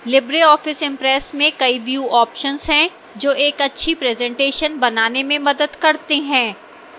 libreoffice impress में कई view options हैं जो एक अच्छी presentation बनाने में मदद करते हैं